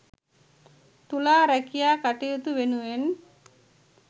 තුලා රැකියා කටයුතු වෙනුවෙන්